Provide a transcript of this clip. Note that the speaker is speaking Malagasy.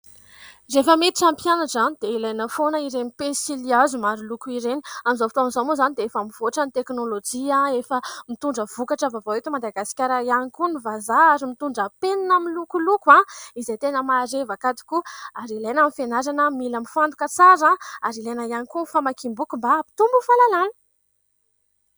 Rehefa miditra ny mpianatra, dia ilaina foana ireny pensily hazo maro loko ireny. Amin'izao fotoana izao moa izany dia efa mivoatra ny teknôlôjia , efa mitondra vokatra vaovao eto Madagasikara ihany koa ny vazaha ary mitondra penina milokoloko izay tena marevaka tokoa. Ary ilaina amin'ny fianarana : mila mifantoka tsara, ary ilaina ihany koa ny famakiam- boky : mba hampitombo fahalalana.